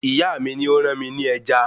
Ìyá mi ni ó rán mi ní ẹja